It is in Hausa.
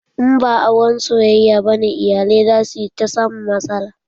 In ba auren soyayya bane, iyalai za su ta samun matsala.